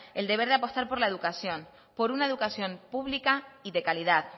el deber de apostar por la educación por una educación pública y de calidad